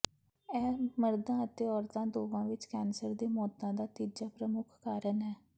ਇਹ ਮਰਦਾਂ ਅਤੇ ਔਰਤਾਂ ਦੋਵਾਂ ਵਿੱਚ ਕੈਂਸਰ ਦੇ ਮੌਤਾਂ ਦਾ ਤੀਜਾ ਪ੍ਰਮੁੱਖ ਕਾਰਨ ਹੈ